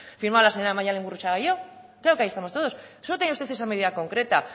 firmado la señora maialen gurrutxaga y yo claro que ahí estamos todos solo tenía usted esa medida concreta